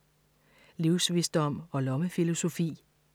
Livsvisdom og lommefilosofi